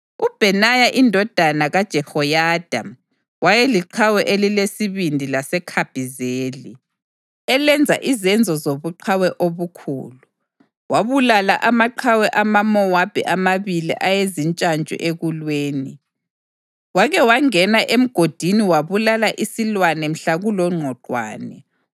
UBhenaya indodana kaJehoyada wayeliqhawe elilesibindi laseKhabhizeli, elenza izenzo zobuqhawe obukhulu. Wabulala amaqhawe amaMowabi amabili ayezintshantshu ekulweni. Wake wangena emgodini wabulala isilwane mhla kulongqwaqwane.